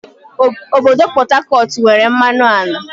Obodo Pọt Hakọt nwere mmanụ ala